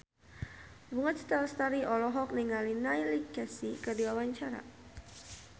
Bunga Citra Lestari olohok ningali Neil Casey keur diwawancara